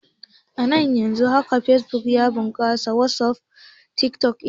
Ana iya yaɗa hotuna ko bidiyon batsa da tsiraici a fesbuk, wasuf ko snafchat.